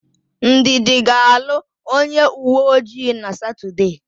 Ndidi ga-alụ onyeuweojii na Satọdee.